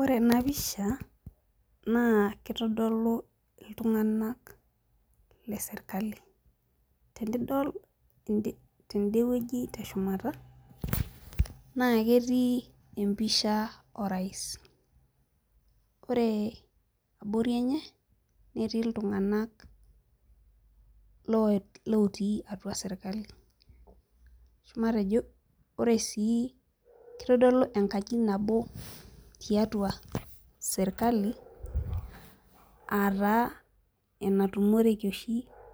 Ore ena pisha naa keitodolu iltung'anak le sirkali. Tenidol tendewueji te shumata, naa ketii empisha orais. Ore abori enye netii ltung'ana lotii atua sirkali. Matejo ore sii, kitodolu enkaji nabo e sirkali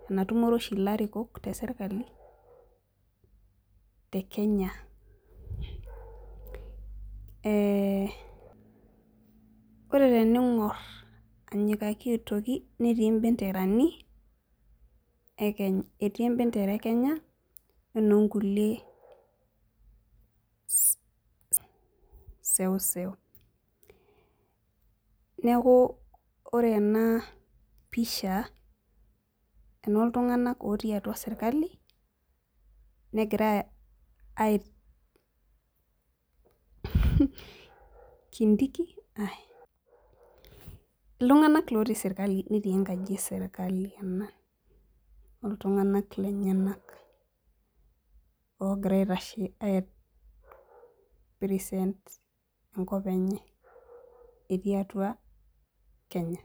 natumore oshi ilarikok le sirkali aa taa te Kenya. Ore tening'orr anyikaki aitoki, etii embendera Kenya okulie benderani eseuseu. Neeku ore ena pisha enoo ltung'ana ootii serikali netii atua enkaji enye, netii enkop enye etii atua Kenya.